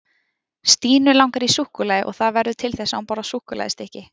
Stínu langar í súkkulaði og það verður til þess að hún borðar súkkulaðistykki.